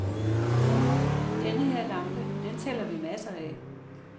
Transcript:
Denne her lampe, den sælger vi masser af.